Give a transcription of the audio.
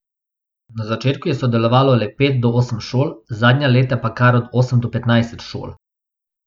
Na začetku je sodelovalo le pet do osem šol, zadnja leta pa kar od osem do petnajst šol.